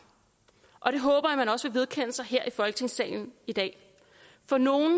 og det håber jeg man også vedkende sig her i folketingssalen i dag for nogle